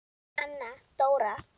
Anna Dóra!